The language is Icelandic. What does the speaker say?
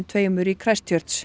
tveimur í